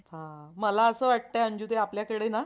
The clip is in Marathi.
मला असं वाटतंय अंजु ताई आपल्याकडे ना